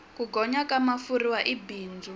ku gonya ka mafurha i bindzu